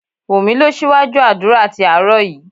Wunmi lọ síwájú àdúrà tí àárọ̀ yìí